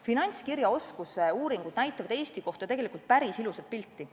Finantskirjaoskuse uuringud näitavad Eesti kohta tegelikult päris ilusat pilti.